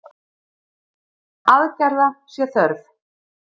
Aðgerða sé þörf.